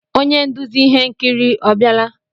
Onye nduzi ihe nkiri ọ biala?